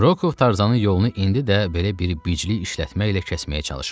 Rokov Tarzanın yolunu indi də belə bir biclik işlətməklə kəsməyə çalışırdı.